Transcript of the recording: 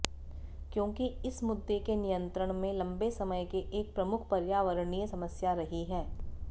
क्योंकि इस मुद्दे के नियंत्रण में लंबे समय के एक प्रमुख पर्यावरणीय समस्या रही है